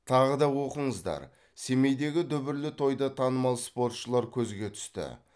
тағы да оқыңыздар семейдегі дүбірлі тойда танымал спортшылар көзге түсті